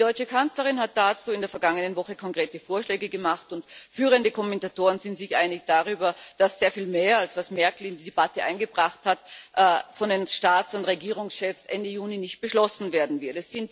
Die deutsche Kanzlerin hat dazu in der vergangenen Woche konkrete Vorschläge gemacht, und führende Kommentatoren sind sich einig darüber, dass sehr viel mehr als das, was Merkel in die Debatte eingebracht hat, von den Staats und Regierungschefs Ende Juni nicht beschlossen werden wird.